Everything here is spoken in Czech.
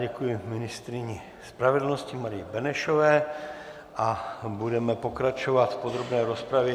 Děkuji ministryni spravedlnosti Marii Benešové a budeme pokračovat v podrobné rozpravě.